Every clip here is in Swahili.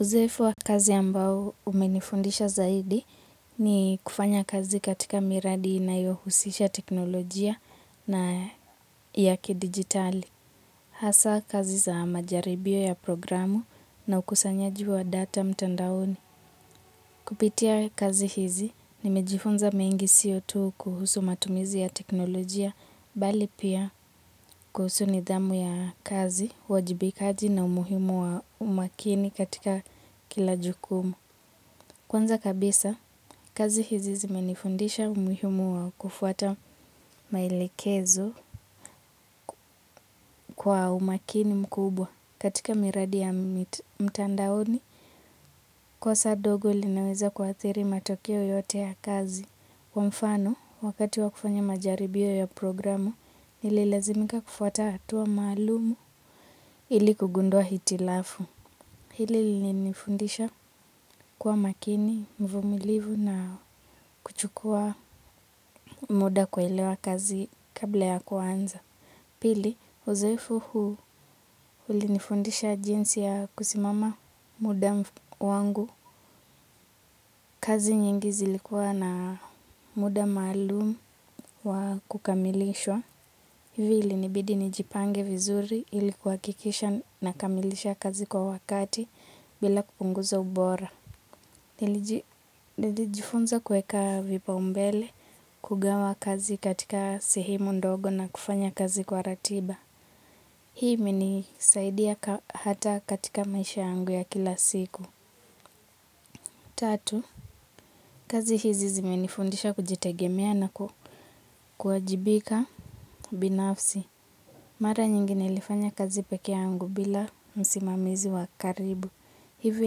Uzoefu wa kazi ambao umenifundisha zaidi ni kufanya kazi katika miradi inayohusisha teknolojia na yaki digitali. Hasa kazi za majaribio ya programu na ukasanyaji wa data mtandaoni. Kupitia kazi hizi ni mejifunza mengi sio tu kuhusu matumizi ya teknolojia, bali pia kuhusu nidhamu ya kazi, uwajibikaji na umuhimu wa umakini katika kilajukumu. Kwanza kabisa, kazi hizi zimenifundisha umihumu wa kufuata maelekezo kwa umakini mkubwa katika miradi ya mtandaoni kosa dogo linaweza kwa atiri matokeo yote ya kazi. Kwa mfano, wakati wa kufanya majaribio ya programu, ili lazimika kufuata atua malumu ili kugundua hitilafu. Hili linifundisha kuwa makini, mvumilivu na kuchukua muda kuelewa kazi kabla ya kuanza. Pili, uzoefu huu ulinifundisha jinsi ya kusimama muda wangu. Kazi nyingi zilikuwa na muda malumu wa kukamilishwa. Hili ili nibidi nijipange vizuri ilikuwa kwakisha nakamilisha kazi kwa wakati bila kupunguza ubora. Nili jifunza kueka vipa umbele kugawa kazi katika sehemu ndogo na kufanya kazi kwa ratiba. Hii imenisaidia hata katika maisha angu ya kila siku. Tatu, kazi hizi zimenifundisha kujitegemea na kuajibika binafsi. Mara nyingine ilifanya kazi peke angu bila msimamizi wa karibu. Hivyo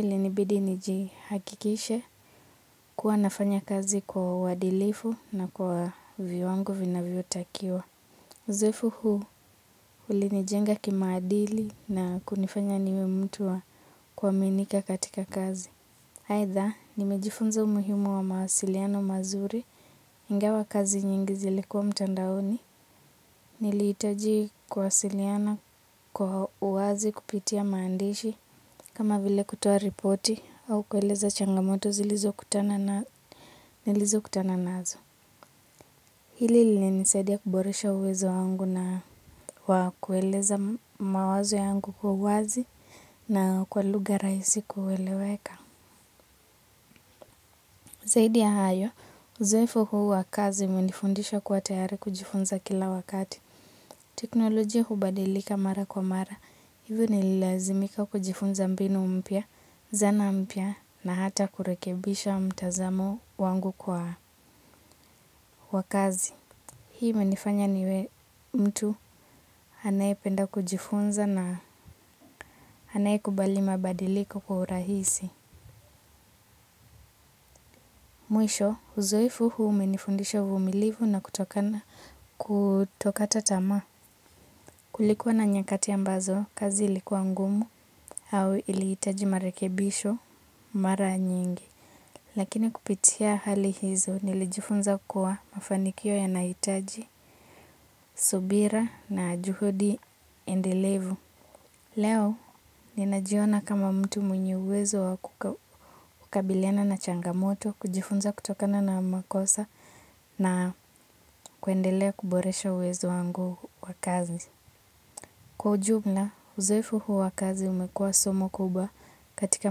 ilinibidi njihakikishe kuwa nafanya kazi kwa wadilifu na kwa viowangu vinavio takiwa. Uzoefu huu ulinijenga kimaadili na kunifanya niwe mtu wa kwa minika katika kazi. Haitha, nimejifunza umuhimu wa mahasiliano mazuri ingawa kazi nyingi zilikuwa mtandaoni. Nilihitaji kuwasiliana kwa uwazi kupitia maandishi kama vile kutoa ripoti au kueleza changamoto zilizo kutana nazo. Hili lina nisaidia kuboresha uwezo wangu na kwa kueleza mawazo yangu kwa uwazi na kwa lugha rahisi kueleweka. Zaidi ya hayo uzoefu huu wa kazi umenifundisha kuwa tayari kujifunza kila wakati. Teknolojia hubadilika mara kwa mara, hivyo nililazimika kujifunza mbinu mpya, zana mpya na hata kurekebisha mtazamo wangu kwa kazi. Hii imenifanya niwe mtu anayependa kujifunza na anaye kubali mabadiliko kwa urahisi. Mwisho, uzoefu huu umenifundisha uvumilivu na kutokata tamaa. Kulikuwa na nyakati ambazo, kazi ilikuwa ngumu au iliitaji marekebisho mara nyingi. Lakini kupitia hali hizo nilijifunza kuwa mafanikio ya naitaji subira na juhudi endelevu. Leo, ninajiona kama mtu mwenye uwezo wa kukabiliana na changamoto, kujifunza kutokana na makosa na kuendelea kuboresha uwezo wangu wa kazi. Kwa ujumla, uzoefu huu wa kazi umekua somo kubwa katika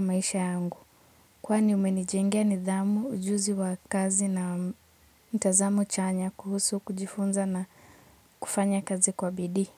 maisha yangu. Kwani umenijengea nidhamu ujuzi wa kazi na mtazamo chanya kuhusu kujifunza na kufanya kazi kwa bidii.